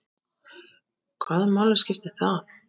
Hvaða máli skipti það?